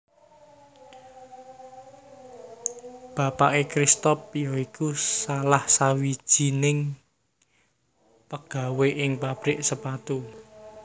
Bapaké Cristoph ya iku salah sawijing pegawe ing pabrik sepatu